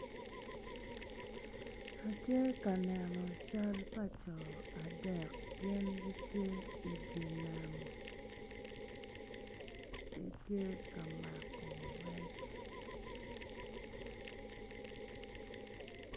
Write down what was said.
Atye ka neno cal pa jo adek gin gitye ka mako rec.